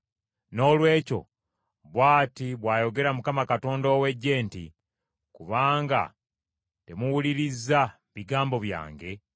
Noolwekyo bw’ati bw’ayogera Mukama Katonda ow’Eggye nti, “Kubanga temuwulirizza bigambo byange,